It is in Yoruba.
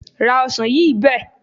Ra ọsàn yìí bẹ́ẹ̀.